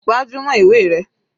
Gbájúmọ́ ìwé rẹ.